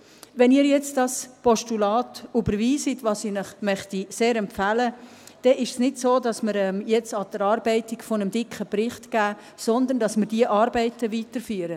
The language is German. Wenn Sie nun dieses Postulat überweisen, was ich Ihnen sehr empfehlen möchte, dann ist es nicht so, dass wir jetzt die Erarbeitung eines dicken Berichtes angehen, sondern dass wir diese Arbeiten weiterführen.